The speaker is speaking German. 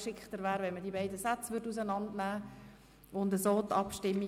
Es wäre besser, die beiden Sätze auseinander zu nehmen und über jeden einzeln abzustimmen.